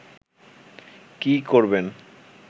কি করবেন